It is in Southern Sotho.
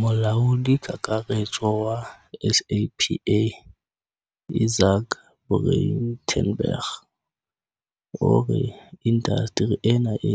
Molaodi Kakaretso wa SAPA Izaak Breitenbach o re inda steri ena e